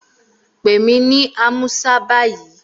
Pè mí ní Amusa báyìí!